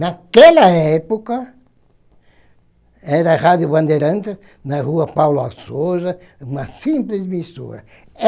Naquela época, era a Rádio Bandeirantes, na Rua Paulo Açoza, uma simples emissora.